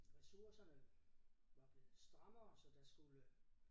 Ressourcerne var blevet strammere så der skulle